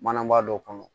Manabaa dɔ kɔnɔ